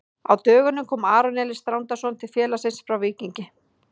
Á dögunum kom Aron Elís Þrándarson til félagsins frá Víkingi.